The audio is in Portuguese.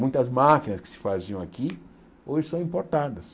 Muitas máquinas que se faziam aqui hoje são importadas.